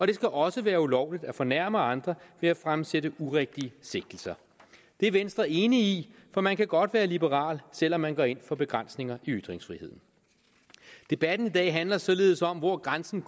det skal også være ulovligt at fornærme andre ved at fremsætte urigtige sigtelser det er venstre enig i for man kan godt være liberal selv om man går ind for begrænsninger i ytringsfriheden debatten i dag handler således om hvor grænsen